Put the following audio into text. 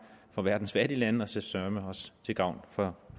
for verdens fattige lande og så søreme også til gavn for